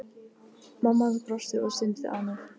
Mamma hans brosti og stundi ánægð.